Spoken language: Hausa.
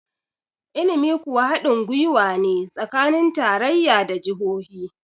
ilimi kuwa hadin gwiwa ne tsakanin tarayya da jahohi